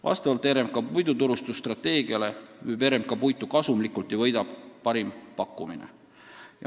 Vastavalt oma puiduturustusstrateegiale müüb RMK puitu kasumlikult ja võidab parim pakkumine.